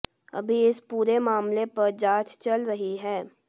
अभी इस पूरे मामले पर जांच चल रही है